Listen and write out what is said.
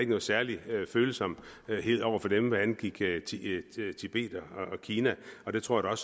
nogen særlig følsomhed over for dem hvad angik tibet og kina og det tror jeg